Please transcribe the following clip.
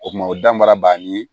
O kuma o dan baara bannen ye